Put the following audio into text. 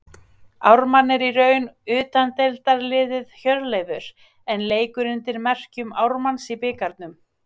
Ármann er í raun utandeildarliðið Hjörleifur en leikur undir merkjum Ármanns í bikarnum.